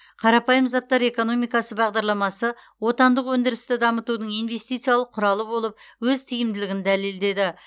қарапайым заттар экономикасы бағдарламасы отандық өндірісті дамытудың инвестициялық құралы болып өз тиімділігін дәлелдеді